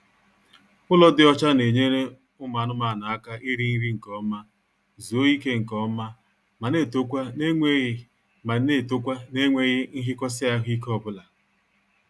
Ụlọ dị ọcha na-enyere ụmụ anụmaanụ aka iri nri nkeọma, zuo ike nkeọma ma na-etokwa n'enweghị ma na-etokwa n'enweghị nhikosi ahụike obula